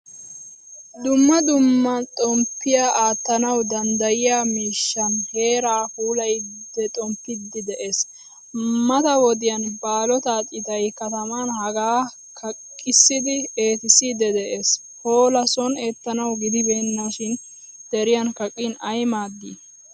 Dumma dumma xomppiya aattanawu danddayiyaa miishshan heeran puulayidi xomppidid de'ees. Mata wodiyan baallotta citay kataman hagaa kaqqissidi eettissiidi de'ees. Hola sooni eettanawu gidibenasan deriyan kaqqin ay maadii?